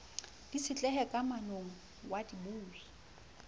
di itshetlehe kamanong ya dibui